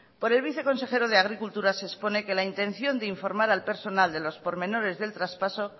por el viceconsejero de agricultura se expone que la intención de informar al personal de los pormenores del traspaso